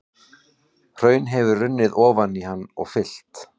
Hraun hefur runnið ofan í hann og fyllt.